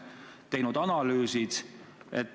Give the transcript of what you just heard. Ja kas on tehtud analüüse?